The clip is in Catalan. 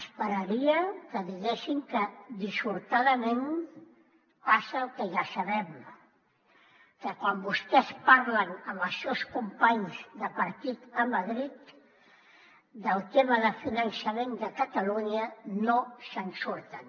esperaria que diguessin que dissortadament passa el que ja sabem que quan vostès parlen amb els seus companys de partit a madrid del tema de finançament de catalunya no se’n surten